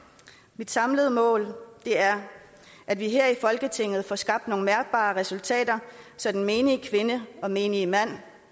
mit samlede mål er at vi her i folketinget får skabt nogle mærkbare resultater så den menige kvinde og menige mand